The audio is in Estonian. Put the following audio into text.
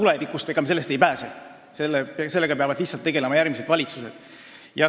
Ega me sellest ei pääse, sellega peavad tegelema lihtsalt järgmised valitsused.